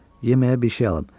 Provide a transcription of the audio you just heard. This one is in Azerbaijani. Yeməyə bir şey alım.